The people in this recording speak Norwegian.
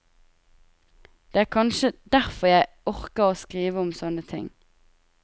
Det er kanskje derfor jeg orker å skrive om sånne ting.